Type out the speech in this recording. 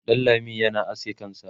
Danlami yana aske kansa